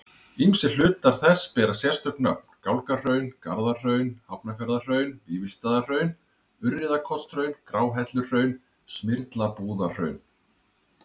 Ýmsir hlutar þess bera sérstök nöfn, Gálgahraun, Garðahraun, Hafnarfjarðarhraun, Vífilsstaðahraun, Urriðakotshraun, Gráhelluhraun, Smyrlabúðarhraun.